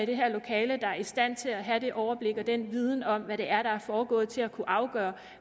det her lokale der er i stand til at have det overblik og den viden om hvad det er der er foregået til at kunne afgøre